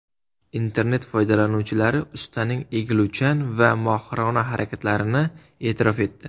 Internet foydalanuvchilari ustaning egiluvchan va mohirona harakatlarini e’tirof etdi.